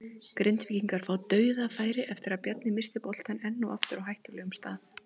Grindvíkingar fá DAUÐAFÆRI eftir að Bjarni missti boltann enn og aftur á hættulegum stað!